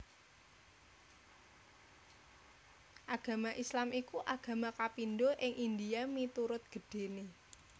Agama Islam iku agama kapindho ing India miturut gedhéné